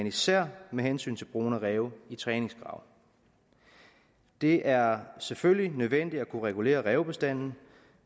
især med hensyn til brugen af ræve i træningsgrave det er selvfølgelig nødvendigt at kunne regulere rævebestanden